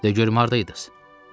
De görüm hardaydız?